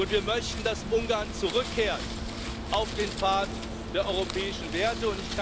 Wir möchten, dass Ungarn zurückkehrt auf den Pfad der europäischen Werte.